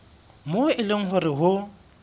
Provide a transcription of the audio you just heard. moo e leng hore ho